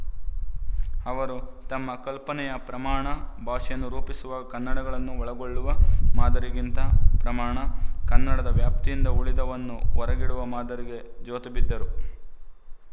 ಅವರು ತಮ್ಮ ಕಲ್ಪನೆಯ ಪ್ರಮಾಣ ಭಾಷೆಯನ್ನು ರೂಪಿಸುವಾಗ ಕನ್ನಡಗಳನ್ನು ಒಳಗೊಳ್ಳುವ ಮಾದರಿಗಿಂತ ಪ್ರಮಾಣ ಕನ್ನಡದ ವ್ಯಾಪ್ತಿಯಿಂದ ಉಳಿದವನ್ನು ಹೊರಗಿಡುವ ಮಾದರಿಗೆ ಜೋತುಬಿದ್ದರು